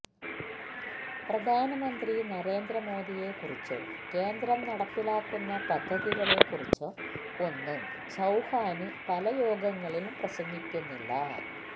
പ്രധാനമന്ത്രി നരേന്ദ്ര മോദിയെക്കുറിച്ചോ കേന്ദ്രം നടപ്പിലാക്കുന്ന പദ്ധതികളെ കുറിച്ചോ ഒന്നും ചൌഹാന് പല യോഗങ്ങളിലും പ്രസംഗിക്കുന്നില്ല